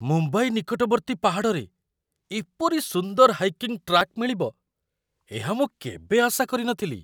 ମୁମ୍ବାଇ ନିକଟବର୍ତ୍ତୀ ପାହାଡ଼ରେ ଏପରି ସୁନ୍ଦର ହାଇକିଂ ଟ୍ରାକ୍ ମିଳିବ, ଏହା ମୁଁ କେବେ ଆଶା କରିନଥିଲି ।